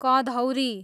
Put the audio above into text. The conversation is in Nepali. कँधौरी